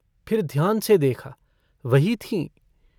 फिर ध्यान से देखा वही थीं।